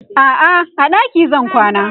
a'a a ɗaki zan kwana